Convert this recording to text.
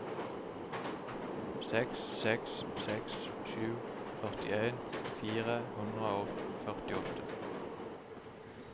seks seks seks sju førtien fire hundre og førtiåtte